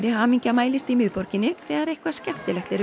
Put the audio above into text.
hamingja mælist í miðborginni þegar eitthvað skemmtilegt er um